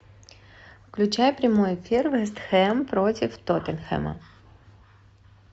включай прямой эфир вест хэм против тоттенхэма